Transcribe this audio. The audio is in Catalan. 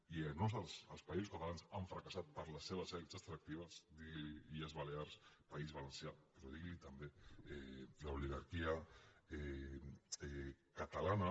i a més els països catalans han fracassat per les seves elits extractives diguili illes balears país valencià però diguili també l’oligarquia catalana